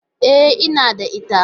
E, ina da ita.